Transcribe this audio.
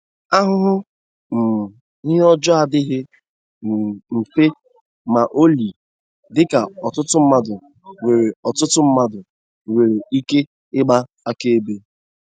Ahụhụ um ihe ọjọọ adịghị um mfe ma ọlị, dịka ọtụtụ mmadụ nwere ọtụtụ mmadụ nwere ike ịgba akaebe.